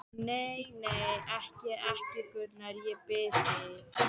Nei, nei, ekki, ekki, Gunnar, ég bið þig.